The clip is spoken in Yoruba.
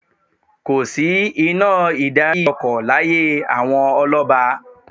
Kò sí iná ìdarí-ọkọ̀ láyé àwọn ọlọ́ba.